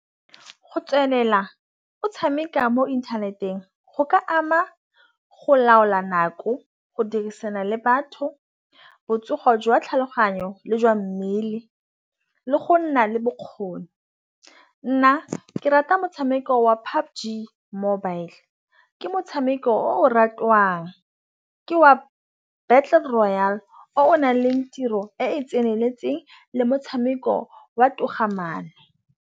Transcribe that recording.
Go tswelela o tšhameka mo inthaneteng go ka ama go laola nako go dirisana le batho botsogo jwa tlhaloganyo le jwa mmele. Le go nna le bokgoni nna ke rata motšhameko wa PUBG Mobile. Ke motšhameko o ratwang ke wa battle royale o nang tiro e e tseneletseng le motšhameko wa togamaano.